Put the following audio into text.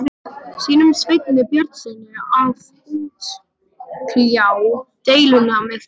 sínum, Sveini Björnssyni, að útkljá deiluna með þeim.